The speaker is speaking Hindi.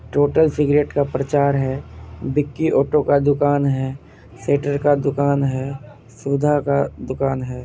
टोटल सिगरेट का प्रचार है| बिक्की ओटो का दुकान है स्वेटर का दुकान है सुधा का दुकान है।